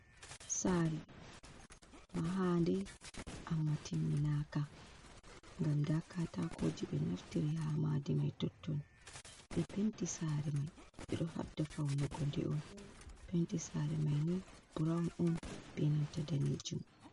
Saare, mahaande amma timminaaka, ngam ndaa kaataakooji ɓe naftiri haa maadi may totton, ɓe penti saare may, ɓe ɗo haɓda fawnugo nde on, penti saare may ni burawn on bee nanta daneejum.